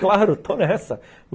Claro, estou nessa!